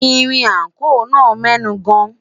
ìrìn ako nà mẹnu gan